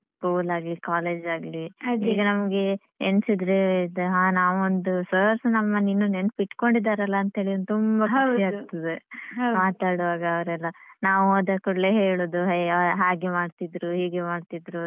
School ಆಗ್ಲಿ college ಆಗ್ಲಿ ಈಗ ನಮ್ಗೆ ಎಣ್ಸಿದ್ರೆ ಅಹ್ ನಾವ್ ಒಂದು sir ಸ ನಮ್ಮನ್ನು ಇನ್ನು ನೆನ್ಪಿಟ್ಕೊಂಡಿದಾರೆಲ್ಲ ಅಂತಹೇಳಿ ಒಂದು ತುಂಬ ಖುಷಿ ಆಗ್ತದೆ. ಮಾತಾಡುವಾಗ ಅವರೆಲ್ಲ ನಾವ್ ಹೋದಕೂಡ್ಲೇ ಹೇಳುದು ಅಯ್ಯೋ ಹಾಗೆ ಮಾಡ್ತಿದ್ರು ಹೀಗೆ ಮಾಡ್ತಿದ್ರು.